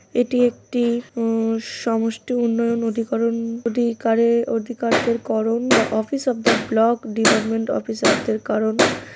এটি একটি উম সমষ্টি উন্নয়ন অধিকরণ অধিকারের অধিকারদের কারণ office of the block department officer -দের কারণ |